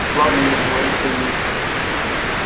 ладно ира говорит сергей